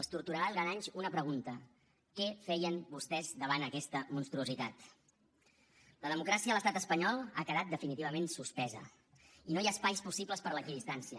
els torturarà durant anys una pregunta què feien vostès davant aquesta monstruositat la democràcia a l’estat espanyol ha quedat definitivament suspesa i no hi ha espais possibles per a l’equidistància